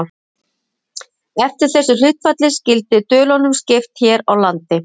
Eftir þessu hlutfalli skyldi dölunum skipt hér á landi.